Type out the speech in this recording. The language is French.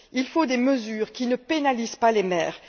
Il faut des mesures qui ne pénalisent pas les mères.